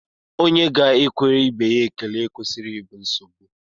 Onye ga-ekwere ibe ya ekele ekwesịghị ịbụ nsogbu